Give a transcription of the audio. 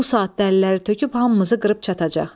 Bu saat dəlləri töküb hamımızı qırıb çatacaq.